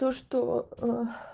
то что ээ